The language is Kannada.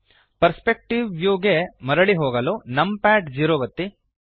ಪರ್ಸ್ಪೆಕ್ಟಿವ್ ವ್ಯೂಗೆ ಮರಳಿ ಹೋಗಲು ನಮ್ ಪ್ಯಾಡ್ ಝೀರೋ ಒತ್ತಿ